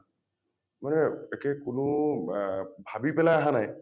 মানে তাকেই কোনো অ ভাবি পেলাই অহা নাই